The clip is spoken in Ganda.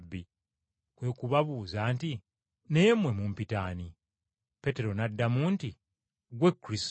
Kwe kubabuuza nti, “Naye mmwe mumpita ani?” Peetero n’addamu nti, “Ggwe Kristo.”